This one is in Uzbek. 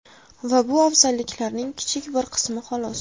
Va bu afzalliklarning kichik bir qismi xolos!